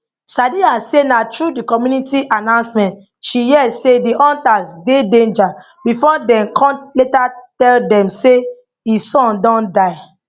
sadiya say na through di community announcement she hear say di hunters dey danger before dem con later tell dem say e son don die